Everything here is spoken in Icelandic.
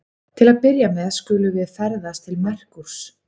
Til að byrja með skulum við ferðast til Merkúrs.